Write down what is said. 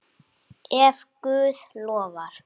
Ef Guð lofar.